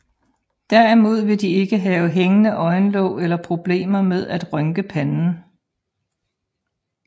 Derimod vil de ikke have hængende øjenlåg eller problemer med at rynke panden